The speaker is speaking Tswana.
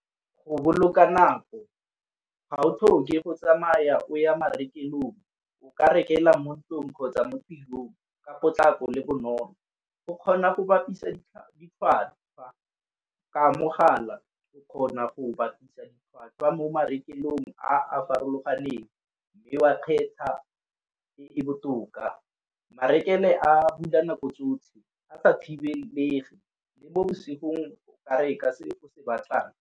Go boloka nako, ga o tlhoke go tsamaya o ya marekelong o ka rekela mo ntlung kgotsa mo ka potlako le bonolo. O kgona go bapisa ka mogala o kgona go bapisa ditlhwatlhwa marekelong a a farologaneng, mme wa kgetha e e botoka. Marekelo a bula nako tsotlhe a sa thibelege le mo bosigong o ka reka se o se batlang.